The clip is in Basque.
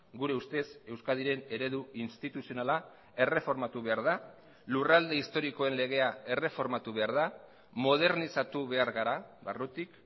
gure ustez euskadiren eredu instituzionala erreformatu behar da lurralde historikoen legea erreformatu behar da modernizatu behar gara barrutik